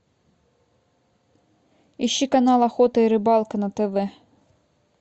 ищи канал охота и рыбалка на тв